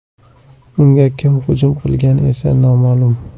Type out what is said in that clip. Unga kim hujum qilgani esa noma’lum.